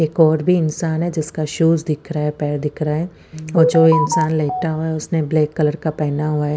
एक और भी इंसान है जिसका शूज दिख रहा है पैर दिख रहा है ऐ जो इंसान लेटा हुआ है उसने ब्लैक कलर का पहना हुआ है--